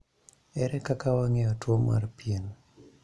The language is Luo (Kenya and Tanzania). Ere kaka wang'eyo tuo mar pien?